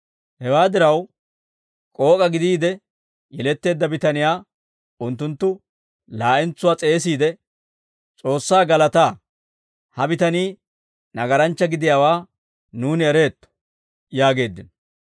Hewaa diraw, k'ook'a gidiide yeletteedda bitaniyaa unttunttu laa'entsuwaa s'eesiide, «S'oossaa galataa; ha bitanii nagaranchcha gidiyaawaa nuuni ereetto» yaageeddino.